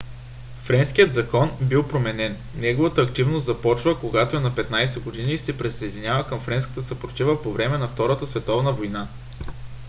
френският закон бил променен. неговата активност започва когато е на 15 години и се присъединява към френската съпротива по време на втората световна война